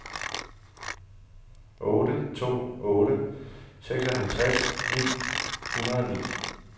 otte to otte to seksoghalvtreds ni hundrede og ni